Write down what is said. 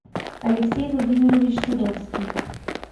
алексей владимирович садовский